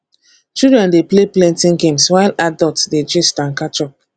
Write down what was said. children dey play plenty games while adults dey gist and catch up